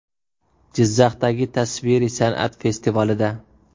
Jizzaxdagi tasviriy san’at festivalida.